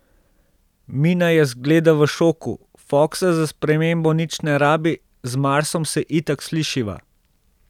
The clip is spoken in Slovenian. Mina je zgleda v šoku, Foksa za spremembo nič ne rabi, z Marsom se itak slišiva.